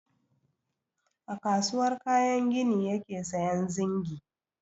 A kasuwar kayan gini yake sayan zingi.